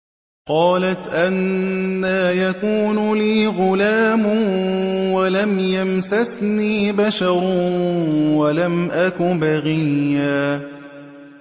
قَالَتْ أَنَّىٰ يَكُونُ لِي غُلَامٌ وَلَمْ يَمْسَسْنِي بَشَرٌ وَلَمْ أَكُ بَغِيًّا